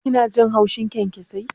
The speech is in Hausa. Kina jin haushin kyankyasai?